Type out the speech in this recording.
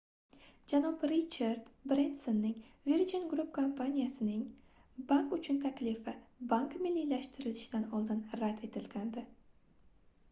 janob richard brensonning virgin group kompaniyasining bank uchun taklifi bank milliylashtirilishidan oldin rad etilgandi